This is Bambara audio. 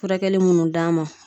Furakɛli munnu d'an ma